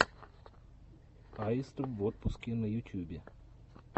аистов в отпуске на ютьюбе